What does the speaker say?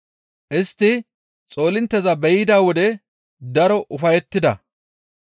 Istti xoolintteza be7ida wode daro ufayettida.